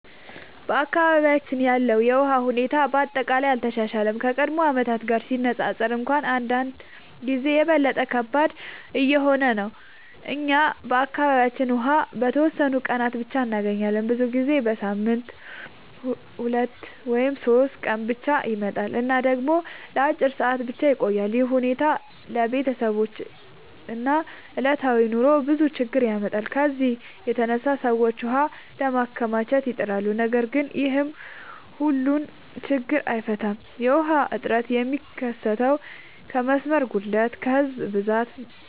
በአካባቢያችን ያለው የውሃ ሁኔታ በአጠቃላይ አልተሻሻለም፤ ከቀድሞ ዓመታት ጋር ሲነፃፀር እንኳን አንዳንድ ጊዜ የበለጠ ከባድ እየሆነ ነው። እኛ በአካባቢያችን ውሃ በተወሰኑ ቀናት ብቻ እንገኛለን፤ ብዙ ጊዜ በሳምንት 2 ወይም 3 ቀን ብቻ ይመጣል እና ደግሞ ለአጭር ሰዓታት ብቻ ይቆያል። ይህ ሁኔታ ለቤተሰቦች እና ለዕለታዊ ኑሮ ብዙ ችግኝ ያመጣል። ከዚህ የተነሳ ሰዎች ውሃ ለማከማቸት ይጥራሉ፣ ነገር ግን ይህም ሁሉን ችግኝ አይፈታም። የውሃ እጥረት የሚከሰተው ከመስመር ጉድለት፣ ከህዝብ ብዛት